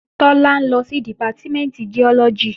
Tọ́lá ń lọ sí Dìpátímẹ̀ntì Giọ́lọ́gì